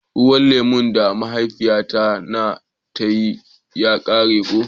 Ruwan lemu da mahaifiya na ta yi ya kare ko.